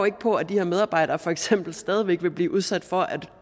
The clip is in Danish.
ikke på at de her medarbejdere for eksempel stadig vil blive udsat for at